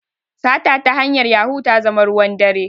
Sata ta hanyar yahu ta zama ruwan dare